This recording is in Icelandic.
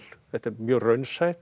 þetta er mjög raunsætt